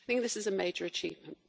This is a major achievement.